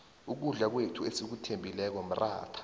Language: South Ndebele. ukudla kwethu esikuthembileko mratha